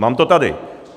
Mám to tady.